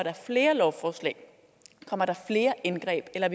flere lovforslag kommer der flere indgreb eller